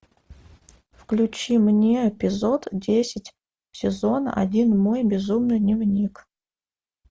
включи мне эпизод десять сезон один мой безумный дневник